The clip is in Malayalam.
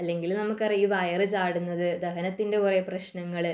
അല്ലെങ്കിൽ നമ്മുടെ വയറു ചാടുന്നത് ദഹനത്തിന്റെ കുറെ പ്രശ്നങ്ങള്